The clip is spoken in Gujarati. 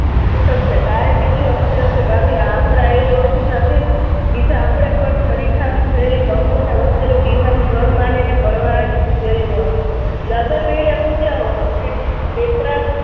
ઉઠકશે. કાલે બીજું જશે ભાભી આપણાએ ઓછું ઢાંકે છે? બીજા આપણે પણ ઠરીઠામ થયેલી કંકુને વસેલું ટીહાનું ઘર માનીને આમ પૂજ્યા હો અને